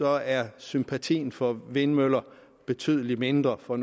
er sympatien for vindmøller betydelig mindre for